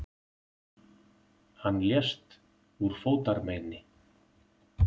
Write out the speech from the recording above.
Hann lést úr fótarmeini.